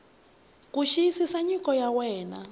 ku xiyisisa nyiko ya wena